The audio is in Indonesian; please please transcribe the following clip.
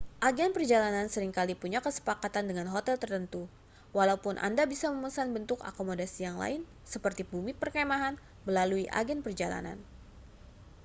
agen perjalanan sering kali punya kesepakatan dengan hotel tertentu walaupun anda bisa memesan bentuk akomodasi yang lain seperti bumi perkemahan melalui agen perjalanan